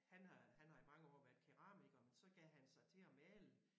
Han har han har i mange år været keramiker men så gav han sig til at male